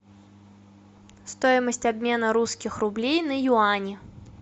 стоимость обмена русских рублей на юани